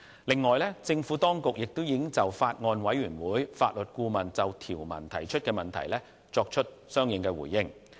另外，政府當局亦已就法案委員會法律顧問就條文提出的問題作出相應的回應。